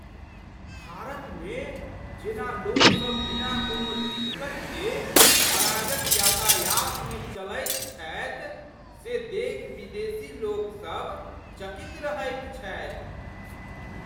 भारतमे जेना लोकसभ बिना कोनो दिक्कत के अराजक यातायातमे चलैत छथि से देखि विदेशीलोक सभ चकित रहैत छथि।